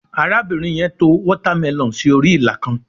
arabinrin yen to watermelon sí orí ila kan